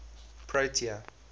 protea